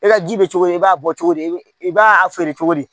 E ka ji bɛ cogo di i b'a bɔ cogo di i b'a feere cogo di